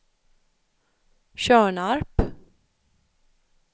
Tjörnarp